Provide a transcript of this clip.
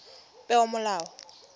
peomolao